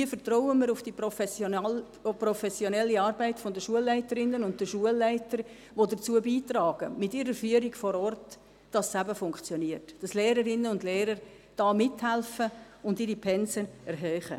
Hier vertrauen wir auch auf die professionelle Arbeit der Schulleiterinnen und Schulleiter, die mit ihrer Führung vor Ort dazu beitragen, dass es eben funktioniert, dass Lehrerinnen und Lehrer da mithelfen und ihre Pensen erhöhen.